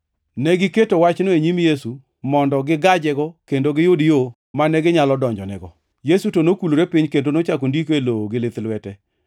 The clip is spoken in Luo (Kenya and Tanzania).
Negiketo wachno e nyim Yesu mondo gigajego kendo giyud yo mane ginyalo donjonego. Yesu to nokulore piny kendo nochako ndiko e lowo gi lith lwete.